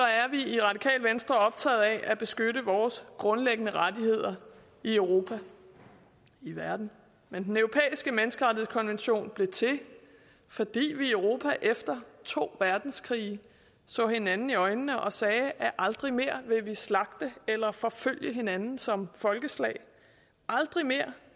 i radikale venstre optagede af at beskytte vores grundlæggende rettigheder i europa i verden men den europæiske menneskerettighedskonvention blev til fordi vi i europa efter to verdenskrige så hinanden i øjnene og sagde aldrig mere vil vi slagte eller forfølge hinanden som folkeslag aldrig mere